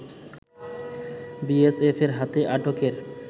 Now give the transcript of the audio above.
বিএসএফের হাতে আটকের